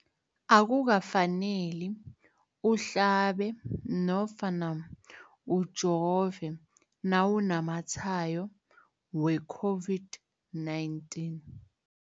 Akukafaneli uhlabe nofana ujove nawunamatshayo we-COVID-19.